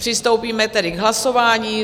Přistoupíme tedy k hlasování.